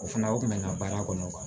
O fana o kun bɛ n ka baara kɔnɔ